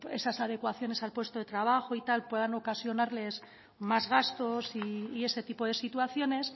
esas adecuaciones al puesto de trabajo y tal puedan ocasionarles más gastos y ese tipo de situaciones